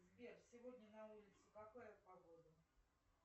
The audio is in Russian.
сбер сегодня на улице какая погода